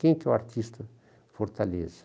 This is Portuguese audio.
Quem que é o artista de Fortaleza?